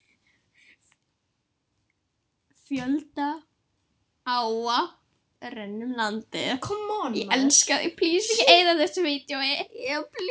Fjölda áa renna um landið.